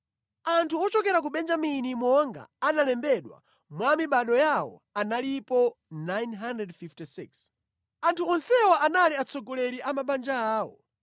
Anthu ochokera ku Benjamini monga analembedwera mwa mibado yawo, analipo 956. Anthu onsewa anali atsogoleri a mabanja awo.